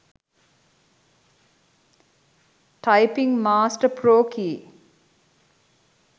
typing master pro key